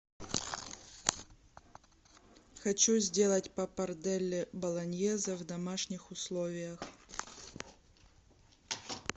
хочу сделать паппарделле болоньезе в домашних условиях